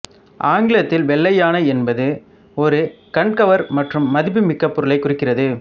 ஆங்கிலத்தில் வெள்ளை யானை என்பது ஒரு கண்கவர் மற்றும் மதிப்புமிக்க பொருளைக் குறிக்கிறது